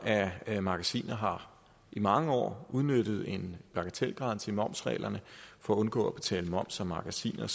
af magasiner har i mange år udnyttet en bagatelgrænse i momsreglerne for at undgå at betale moms af magasiner